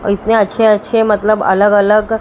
और इतने अच्छे अच्छे मतलब अलग अलग--